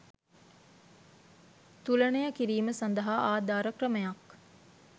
තුලනය කිරීම සඳහා ආධාර ක්‍රමයක්